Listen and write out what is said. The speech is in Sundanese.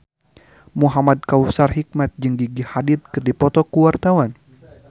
Muhamad Kautsar Hikmat jeung Gigi Hadid keur dipoto ku wartawan